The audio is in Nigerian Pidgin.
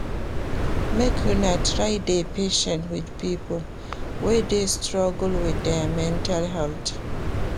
Make una try dey patient wit pipo wey dey struggle wit their mental health.